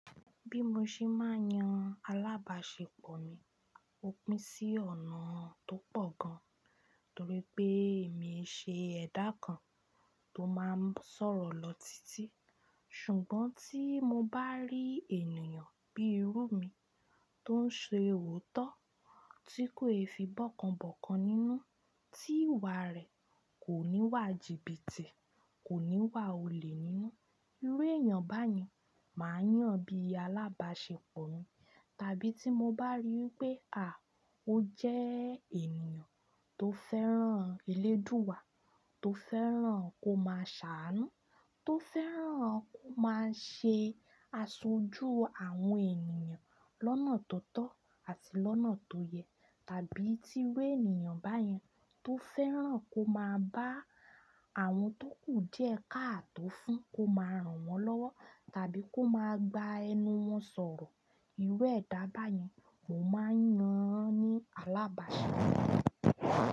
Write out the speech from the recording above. Bí mo ṣe máa ń yan alábàáṣepọ̀ mi, ó pín sí ọ̀nà tó pọ̀ gan, torí pé èmi í ṣe ẹ̀dà kan tó máa ń sọ̀rọ̀ lọ títí. Ṣùgbọ́n tí mo bá rí ènìyàn bíi irú mi tó ń ṣe òótọ́, tí kò í fi igbákan bọ́kan nínú, tí ìwà rẹ̀ kò ní'wà jìbìtì, kò ní'wà olè nínú, irú èyàn báyẹn màá yàn bí i alábàáṣepọ̀ mi. Tàbí tí mo bá rí pé, à, ó jẹ́ ènìyàn tó fẹ́ràn Elédùwà, tó fẹ́ràn kó máa ṣàánú, tó fẹ́ràn kó máa ṣe aṣojú àwọn ènìyàn lọ́nà tó tọ́ àti lọ́nà tó yẹ, tàbí tí irú ènìyàn báyẹn tó fẹ́ràn kó máa bá àwọn tó kù díèkáàtó fún, kó máa ràn wọ́n lọ́wọ́, tàbí kó máa gba ẹnu wọ́n sọ̀rọ̀, irú ẹ̀dá báyẹn mo máa ń yan ní alábàáṣepọ̀ mi.